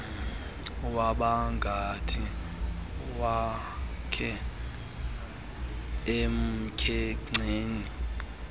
wabangathi ufakwe emkhenceni